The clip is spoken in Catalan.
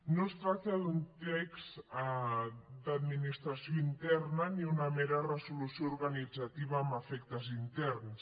no es tracta d’un text d’administració interna ni una mera resolució organitzativa amb efectes interns